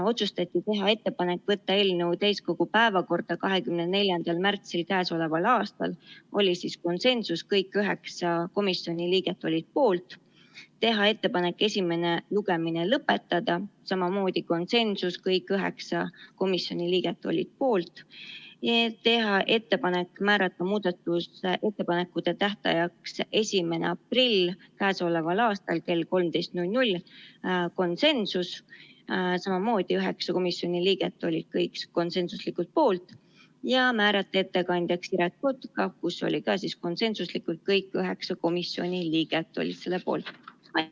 Otsustati teha ettepanek võtta eelnõu täiskogu päevakorda 24. märtsiks k.a – oli konsensus, kõik üheksa komisjoni liiget olid poolt; teha ettepanek esimene lugemine lõpetada – samamoodi konsensus, kõik üheksa komisjoni liiget olid poolt; teha ettepanek määrata muudatusettepanekute tähtajaks 1. aprill k.a kell 13 – konsensus, samamoodi üheksa komisjoni liiget olid kõik konsensuslikult poolt; ja määrata ettekandjaks Siret Kotka – ka konsensuslikult kõik üheksa komisjoni liiget olid selle poolt.